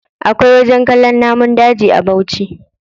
Akwai wajen kallon namun daji a bauchi.